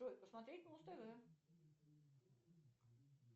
джой посмотреть муз тв